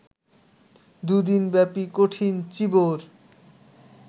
দু'দিনব্যাপী কঠিন চীবর